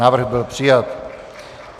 Návrh byl přijat.